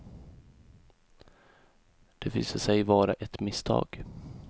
Det visade sig vara ett misstag.